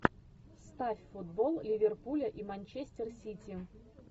ставь футбол ливерпуля и манчестер сити